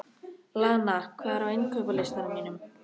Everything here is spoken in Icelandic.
Lana, hvað er á innkaupalistanum mínum?